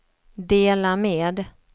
dela med